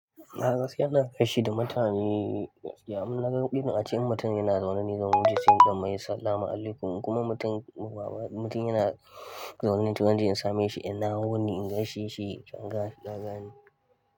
Na kashe yana gaishe da mutane, yi innaga irin a ce wa mutum yana zaune ni zaune, sai in ɗan mai sallama alaikum kuma mutum ba mutum yana zaune ni toh zan je in same shi, ina wuni in gaishe shi, in ganin daga ni.